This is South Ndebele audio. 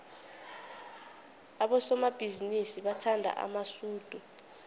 abosomabhizinisi bathanda amasudu